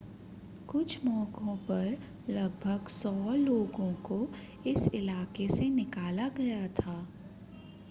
कुछ मौकों पर लगभग 100 लोगों को इस इलाके से निकाला गया